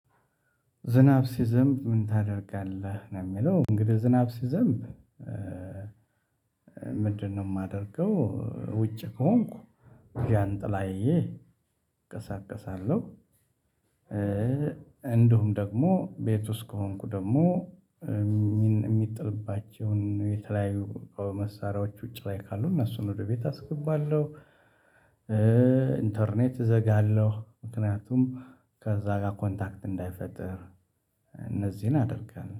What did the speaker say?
ዝናብ ሲዘንብ ምን ታደርጋለህ? ነው የሚለው እንግዲህ ዝናብ ሲዘንብ ምንድነው የማደርገው ውጭ ከሆንኩ ጃንጥላዬ እቀሳቀሳለሁ እንደውም ደግሞ ቤት ውስጥ ከሆንኩ ደግሞ የሚጥልባቸውን የተለያዩ መሳሪያዎች ውጪ ላይ ካሉ እነሱን ወደ ቤት አስገባለሁ ኢንተርኔት እዘጋለሁ ምክንያቱም ከዛ ጋር ኮንታክት እንዳይፈጥር እነዚህን አደርጋለሁ